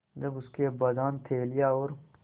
जब उसके अब्बाजान थैलियाँ और